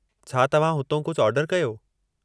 छा तव्हां हुतां कुझु ऑर्डरु कयो?